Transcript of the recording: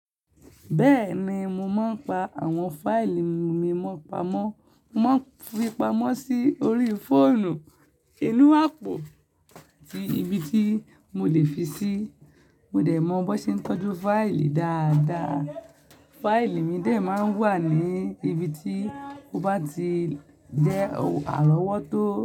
Bẹ́ẹ̀ni, mo máa ń pa àwọn fáìlì mi mó pamọ́. Mo máa ń fi pamọ́ sí orí fóònù, inú àpò ibi tí mo lè fi ṣí. Mo dẹ̀ mọ bó ṣe ń tọ́jú fáìlì dáadáa. Fáìlì mi dẹ̀ máa ń wà ní ibi tí ó bá ti jẹ́ àrọ́wọ́tó.